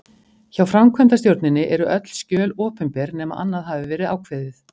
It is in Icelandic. Hjá framkvæmdastjórninni eru öll skjöl opinber nema annað hafi verið ákveðið.